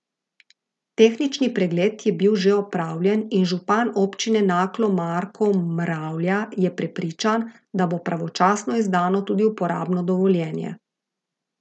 Tehnični pregled je bil že opravljen in župan občine Naklo Marko Mravlja je prepričan, da bo pravočasno izdano tudi uporabno dovoljenje.